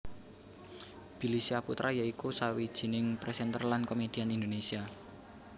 Billy Syahputra ya iku sawijining presenter lan komedian Indonesia